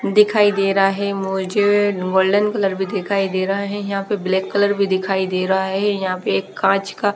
दिखाई दे रहा है मुझे गोल्डन कलर भी दिखाई दे रहा है यहाँ पे ब्लैक कलर भी दिखाई दे रहा है यहाँ पे एक कांच का --